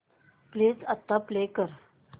please आता play कर